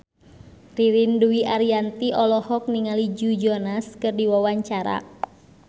Ririn Dwi Ariyanti olohok ningali Joe Jonas keur diwawancara